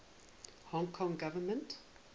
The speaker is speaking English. hong kong government